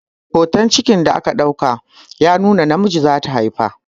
Hotan cikin da aka ɗauka ya nuna namiji zata haifa